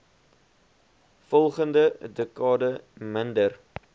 volgende dekade minder